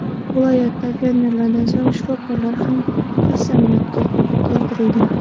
Viloyatda fermerlardan so‘ng shifokorlar ham qasamyodga keltirildi .